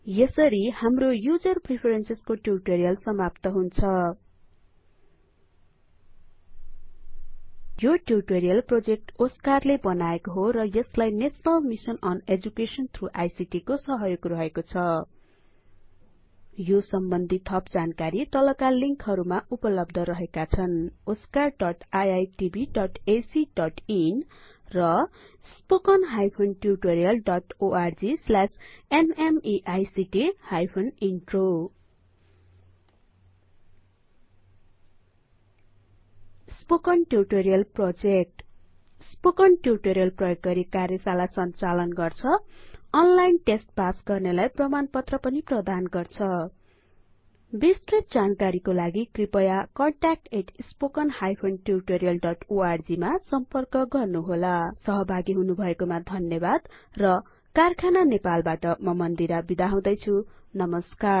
यसरी हाम्रो user preferences को ट्युटोरीअल समाप्त हुन्छ यो ट्युटोरीअल प्रोजेक्ट ओस्कार ले बनाएको हो र यसलाई national mission on education through ICT को सहयोग रहेको छ यो सम्बन्धि थप जानकारी तलका लिंकहरुमा उपलब्ध रहेका छन oscariitbacइन र spoken tutorialorgnmeict intro spoken tutorial project spoken tutorial प्रयोग गरि कार्यशाला हरु संचालन गर्छ अनलाइन तस्त पास गर्नेलाई प्रमाणपत्र पनि प्रदान गर्छ बिस्तृत जानकारी को लागि कृपया contactspoken tutorialorg सम्पर्क गर्नुहोला सहभागी हुनुभएको मा धन्यवाद र कारखाना नेपालबाट म मन्दिरा बिदा हुदैछु नमस्कार